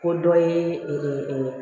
Ko dɔ ye